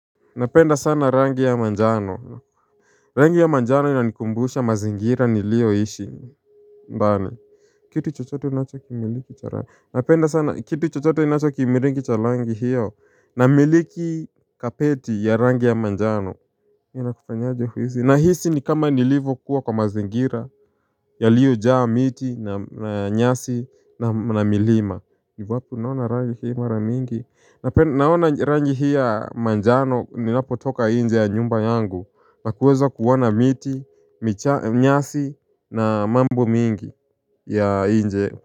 Napenda sana rangi ya manjano Rangi ya manjano inanikumbusha mazingira niliyoishi Mbani Kitu chochote inachokimiliki cha rangi Napenda sana kitu chochote kinacho kimiliki cha rangi hiyo na miliki kapeti ya rangi ya manjano na hisi ni kama niliv kuwa kwa mazingira yaliyo jaa miti na nyasi na milima ni wapi unaona rangi hii mara mingi Naona rangi hii ya manjano Ninapo toka nje ya nyumba yangu Nakueza kuona miti nyasi na mambo mingi ya nje.